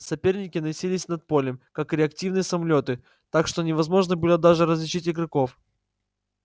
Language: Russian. соперники носились над полем как реактивные самолёты так что невозможно было даже различить игроков